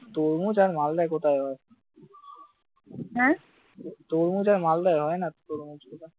তরমুজ আর মালদায় কোথায় হয় তরমুজ আর মালদায় কোথায় হয়?